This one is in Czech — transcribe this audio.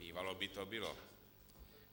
Bývalo by to bylo.